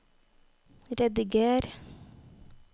rediger